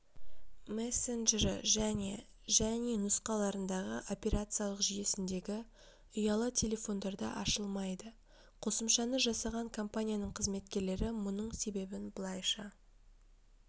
мессенджері және және нұсқаларындағы операциялық жүйесіндегі ұялы телефондарда ашылмайды қосымшаны жасаған компанияның қызметкерлері мұның себебін былайша